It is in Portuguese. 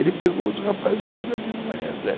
Ele pegou os rapazes tudo ali no manhã Maria Z